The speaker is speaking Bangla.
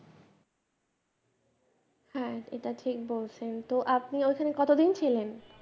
হ্যাঁ এটা ঠিক বলছেন তো আপনি ওখানে কতোদিন ছিলেন?